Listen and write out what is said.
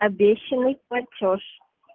обещанный платёж